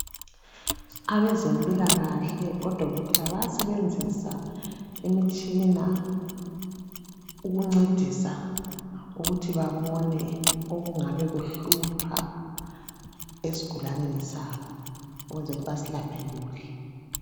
Abezempilakahle odokotela bayasebenzisa imitshina ukuncedisa ukuthi babona okungabe kuhlupha esigulaneni sabo ukwenzela ukuthi basilaphe kuhle.